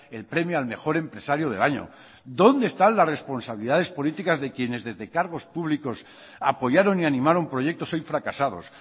el premio al mejor empresario del año dónde están las responsabilidades políticas de quienes desde cargos públicos apoyaron y animaron proyectos hoy fracasados